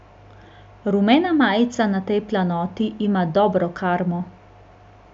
Rumena majica na tej planoti ima dobro karmo.